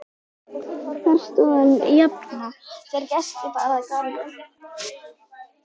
Þar stóð hann jafnan þegar gesti bar að garði.